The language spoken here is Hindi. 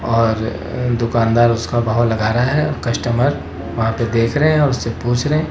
और दुकानदार उसका भाव लग रहा है। कस्टमर वहां पे देख रहे हैं। उससे पूछ रहे हैं।